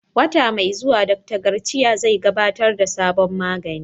Wata mai zuwa, Dr. Garcia zai gabatar da sabon magani